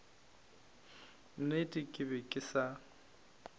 nnete ke be ke sa